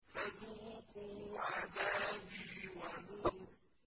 فَذُوقُوا عَذَابِي وَنُذُرِ